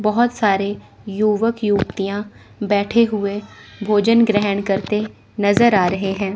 बहोत सारे युवक युवतियां बैठे हुए भोजन ग्रहण करते नजर आ रहे हैं।